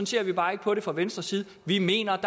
ser vi bare ikke på det fra venstres side vi mener